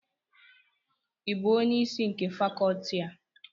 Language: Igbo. ị bụ onye isi nke Fakọọti a?